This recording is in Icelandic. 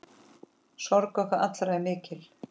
Sorg okkar allra er mikil.